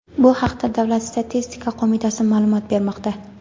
Bu haqda Davlat statistika qo‘mitasi ma’lumot bermoqda.